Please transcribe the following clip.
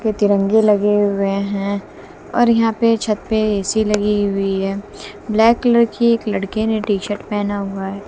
ये तिरंगे लगे हुए हैं और यहां पे छत पे ए_सी लगी हुई है ब्लैक कलर की एक लड़के ने टी शर्ट पहना हुआ--